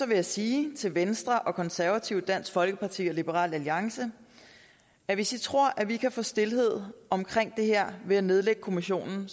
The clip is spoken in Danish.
vil jeg sige til venstre konservative dansk folkeparti og liberal alliance at hvis i tror at vi kan få stilhed om det her ved at nedlægge kommissionen